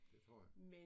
Det tror jeg